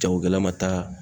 Jagokɛla ma taa